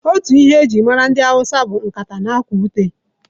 Otu ihe e ji mara ndị hausa bụ nkata na akwa ute.